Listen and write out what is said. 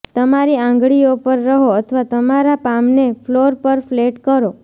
તમારી આંગળીઓ પર રહો અથવા તમારા પામને ફ્લોર પર ફ્લેટ કરો